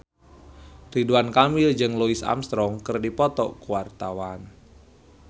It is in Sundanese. Ridwan Kamil jeung Louis Armstrong keur dipoto ku wartawan